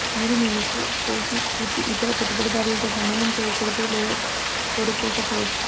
మీరు మీ medical professional కీర్తి ఇతర పెట్టుబడిదారులతో సమ్మేళనం చేయకూడదు లేదా కోరుకోకపోవచ్చు